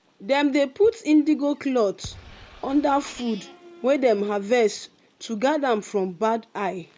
dem dey put indigo cloth under food wey dem harvest to guard am from bad eye.